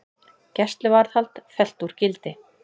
Gæsluvarðhald fellt úr gildi